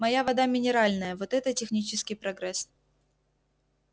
моя вода минеральная вот это технический прогресс